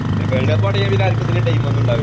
world cup തുടങ്ങിയാ പിന്നെ ആർക്കും ഇതിനൊന്നും ടൈം ഉണ്ടാകൂല